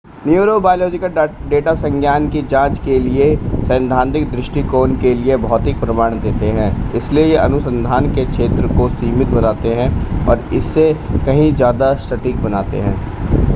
neurobiological data संज्ञान की जांच के लिए सैद्धांतिक दृष्टिकोण के लिए भौतिक प्रमाण देते है इसलिए ये अनुसंधान के क्षेत्र को सीमित बनाते हैं और इसे कहीं ज़्यादा सटीक बनाते हैं